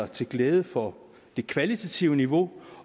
til glæde for det kvalitative niveau